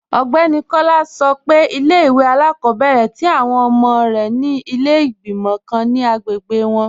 Ọgbẹni Kọla sọ́ pé ilẹ̀-ìwé alákọ̀bẹ̀rẹ̀ tí awọn ọmọ rẹ ni ilẹ̀ igbimọ̀ kàn ni agbègbè wọn.